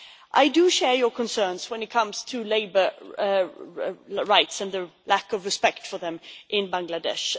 I do share your concerns when it comes to labour rights and the lack of respect for them in Bangladesh.